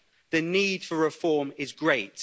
The need for reform is great.